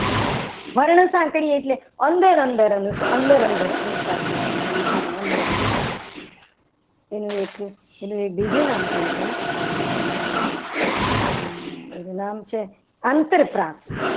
વર્ણ સાંકળી એટલે અંદર અંદર અનુપ્રાસ અંદર અનુપ્રાસ હોય કવિતાની અંદર અંદર એનું એક એનું એક બીજું નામ પણ છે. એનું નામ છે. અંતરપ્રાસ